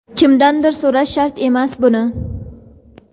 Kimdandir so‘rash shart emas buni.